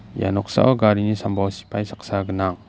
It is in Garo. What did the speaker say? ia noksao garini sambao sipai saksa gnang.